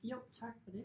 Jo tak for det